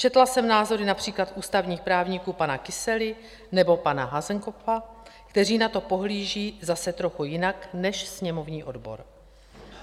Četla jsem názory například ústavních právníků pana Kysely nebo pana Hasenkopfa, kteří na to pohlíží zase trochu jinak než sněmovní odbor.